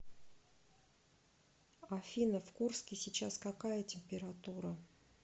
афина в курске сейчас какая температура